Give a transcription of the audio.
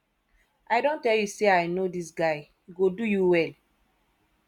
i don tell you say i know dis guy he go do you well